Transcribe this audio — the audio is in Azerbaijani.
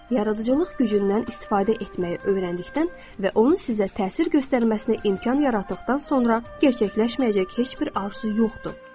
Yaradıcılıq gücündən istifadə etməyi öyrəndikdən və onun sizə təsir göstərməsinə imkan yaratdıqdan sonra gerçəkləşməyəcək heç bir arzu yoxdur.